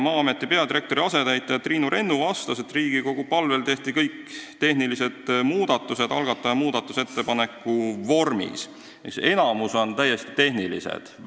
Maa-ameti peadirektori asetäitja Triinu Rennu vastas, et Riigikogu palvel tehti kõik tehnilised muudatused algataja muudatusettepaneku vormis, neist enamik on täiesti tehnilised.